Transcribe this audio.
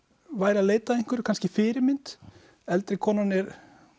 væri að leita að einhverju kannski fyrirmynd eldri konan er